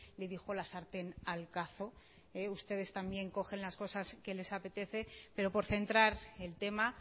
le dijo la sartén al cazo ustedes también cogen las cosas que les apetece pero por centrar el tema